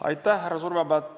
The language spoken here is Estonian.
Aitäh, härra Surva!